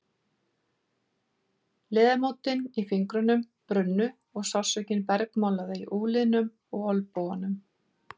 Liðamótin í fingrunum brunnu og sársaukinn bergmálaði í úlnliðum og olnbogum.